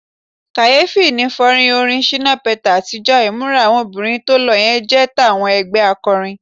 Kàyéfì ni fọ́nrán orin Shina Peters àtijọ́, ìmúra àwọn obìnrin tó lo yẹn jọ tàwọn ẹgbẹ́ akọrin.